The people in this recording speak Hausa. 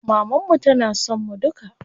Maman mu tana son mu duka.